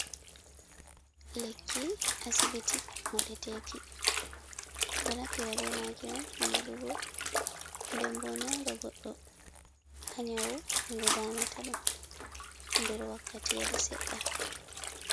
Lekki asibiti modeteki, ɗo naftira be maki on ha moɗugo, ndembo ɗo nyauɗa goɗɗo ha nyawu ko damata ɗum nder wakkati yel seɗɗa.